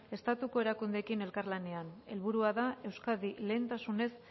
estatuko erakundeekin elkarlanean helburua da euskadi lehentasunez